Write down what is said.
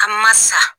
An ma sa